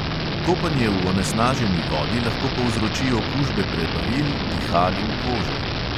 Kopanje v onesnaženi vodi lahko povzroči okužbe prebavil, dihal in kože.